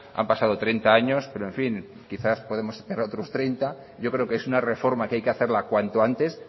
han pasado treinta años pero en fin quizás podemos otros treinta yo creo que es una reforma que hay que hacerla cuanto antes